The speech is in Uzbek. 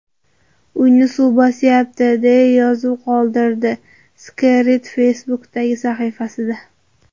Uyni suv bosyapti”, deya yozuv qoldirdi Skerrit Facebook’dagi sahifasida.